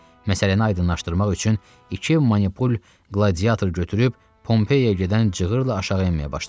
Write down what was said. Məsələni aydınlaşdırmaq üçün iki manipul qladiyator götürüb Pompeyaya gedən cığıırla aşağı enməyə başladı.